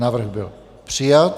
Návrh byl přijat.